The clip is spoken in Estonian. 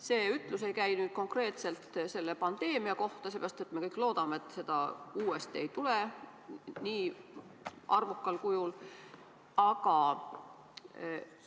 See ütlus ei käi konkreetselt selle pandeemia kohta, sellepärast et me kõik loodame, et seda uuesti ei tule nii arvukal kujul.